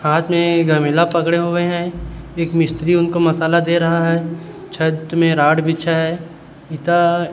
हाथ एक में गमिला पकड़े हुए है एक मिस्त्री उनको मसाला दे रहा है छत में रॉड बिछा है इता--